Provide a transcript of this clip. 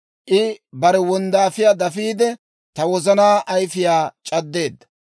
I bare wonddaafiyaa dafiide, ta wozanaa ayifiyaa c'addeedda.